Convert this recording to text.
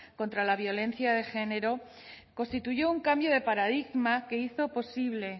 contra la violencia de género constituyó un cambio de paradigma que hizo posible